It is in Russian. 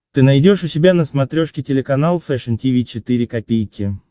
ты найдешь у себя на смотрешке телеканал фэшн ти ви четыре ка